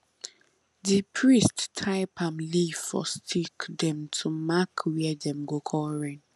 di priest tie palm leaf for stick dem to mark where dem go call rain